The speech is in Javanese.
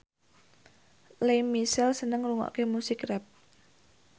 Lea Michele seneng ngrungokne musik rap